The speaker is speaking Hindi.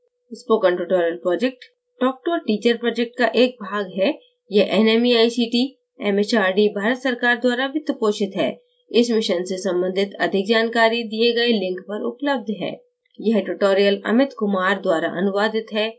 spoken tutorial project talk to a teacher project का एक भाग है यह nmeict mhrd भारत सरकार द्वारा वित्तपोषित है इस मिशन से संबंधित अधिक जानकारी दिए गए link पर उपलब्ध है